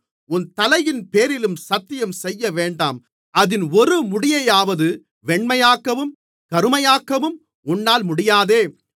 உன் தலையின்பேரிலும் சத்தியம் செய்யவேண்டாம் அதின் ஒரு முடியையாவது வெண்மையாக்கவும் கருமையாக்கவும் உன்னால் முடியாதே